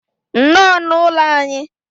nnọọ n'ụlọ anyị.